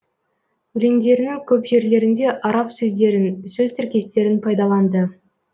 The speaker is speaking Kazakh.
өлендерінің көп жерлерінде араб сөздерін сөз тіркестерін пайдаланды